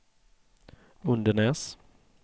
Undenäs